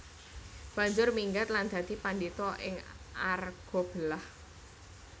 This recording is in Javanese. Banjur minggat lan dadi padhita ing Argabelah